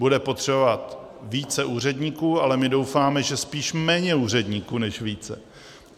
Bude potřeba více úředníků, ale my doufáme, že spíše méně úředníků než více.